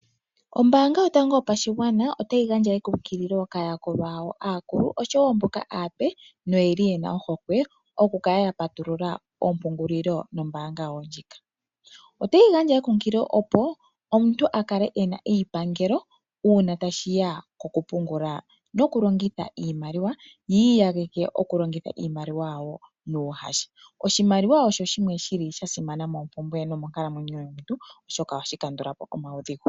Ombaanga yotango yopashigwana otayi gandja ekunkililo kaayakulwa yawo aakulu oshowo mboka aape noyeli yena ohokwe okukala ya patulula oompungulilo nombaanga yawo ndjika. Otayi gandja ekunkililo opo omuntu akale ena eyipangelo uuna tashiya kokupungula nokulongitha iimaliwa yi iyageke okulongitha iimaliwa yawo nuuhasha. Oshimaliwa osho shimwe shili shasimana moompumbwe nomonkalamwenyo yomuntu oshoka ohashi kandulapo omaudhigu.